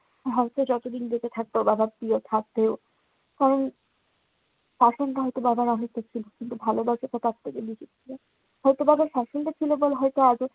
হয়তো যতদিন বেঁচে থাকবো, বাবার প্রিয় থাকবেও। উম আর ভালোবাসাটা তার থেকে বেশি ছিল। হয়তো বাবা হয়তো আজও